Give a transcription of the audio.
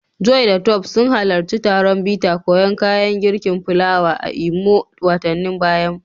Joy da Tope sun halarci taron bita koyan kayan girkin fulawa a Imo watannin baya.